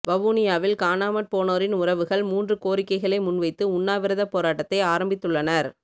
வவுனியாவில் காணாமற் போனோரின் உறவுகள் மூன்று கோரிக்கைகளை முன்வைத்துஉண்ணாவிரதப் போராட்டத்தை ஆரம்பித்துள்ளனர்